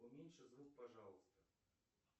уменьши звук пожалуйста